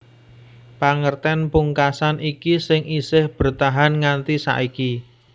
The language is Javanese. Pangertèn pungkasan iki sing isih bertahan nganti saiki